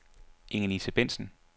Ingelise Bentzen